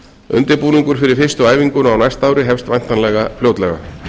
undirbúningur fyrir fyrstu æfinguna á næsta ári hefst væntanlega fljótlega